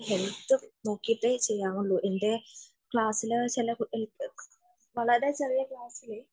ശരിക്കും നോക്കിയിട്ട് ചെയ്യാറുള്ളു . എന്റെ ക്ലാസ്സിലെ ഒരു കുട്ടി വളരെ ചെറിയ ക്ലാസ്സില്